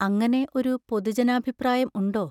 അങ്ങനെ ഒരു പൊതുജനാഭിപ്രായം ഉണ്ടോ?